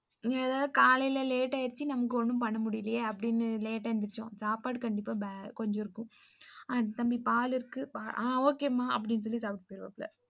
நான் எத்து காலைல late ஆச்சு நமக்கு ஏதும் பண்ண முடியலையா அப்ப late ஆ எந்திரிச்சோம் சாப்பாடு கண்டிப்பா கொஞ்சம் இருக்கும், தம்பி பாலு இருக்கு ஆ okay மா அப்படின்னு சொல்லி சாப்ட்டு போயிருவாப்புல்ல.